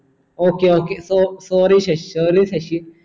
ok ok so sorry Shashi sorry Sasi